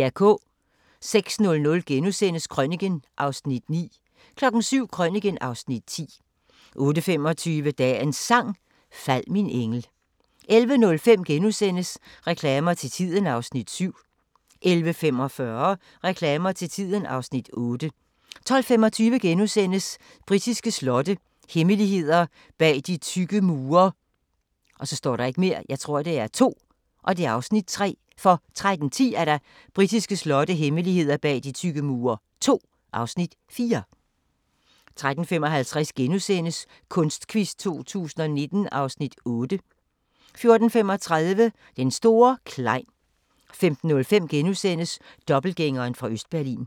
06:00: Krøniken (Afs. 9)* 07:00: Krøniken (Afs. 10) 08:25: Dagens Sang: Fald min engel 11:05: Reklamer til tiden (Afs. 7)* 11:45: Reklamer til tiden (Afs. 8) 12:25: Britiske slotte – hemmeligheder bag de tykke mure (Afs. 3)* 13:10: Britiske slotte – hemmeligheder bag de tykke mure II (Afs. 4) 13:55: Kunstquiz 2019 (Afs. 8)* 14:35: Den store Klein 15:05: Dobbeltgængeren fra Østberlin *